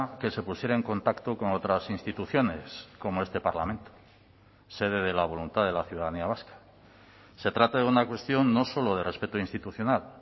que se pusiera en contacto con otras instituciones como este parlamento sede de la voluntad de la ciudadanía vasca se trata de una cuestión no solo de respeto institucional